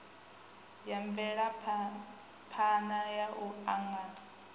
ya mvelaphana ya u angana